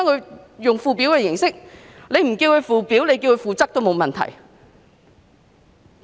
使用"附則"一詞代替"附表"也沒有問題。